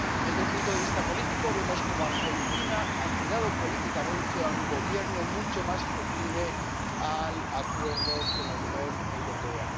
Desde un punto de vista político, vemos cómo Argentina ha girado políticamente a un gobierno mucho más proclive al acuerdo con la Unión Europea.